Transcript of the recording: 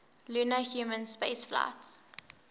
lunar human spaceflights